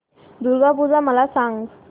दुर्गा पूजा मला सांग